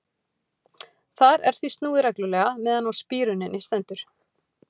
Þar er því snúið reglulega meðan á spíruninni stendur.